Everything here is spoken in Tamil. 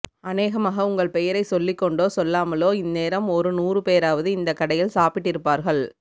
அனேகமாக உங்கள் பெயரை சொல்லிக்கொண்டோ சொல்லாமலோ இந்நேரம் ஒரு நூறுபேராவது இந்தக் கடையில் சாப்பிட்டிருப்பார்கள்